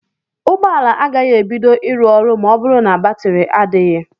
Ụgbọala agaghị ebido ịrụ ọrụ ma ọ bụrụ na batiri adịghị.